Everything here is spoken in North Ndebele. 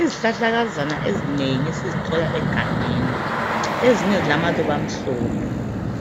Izihlahlakazana ezinengi esizithola egangeni, ezinye zilamaluba amhlophe,